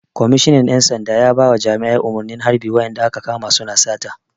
Kwamishinan ƴan sanda ya bawa jami'an umarnin harɓe wa'inda aka kama su na sata!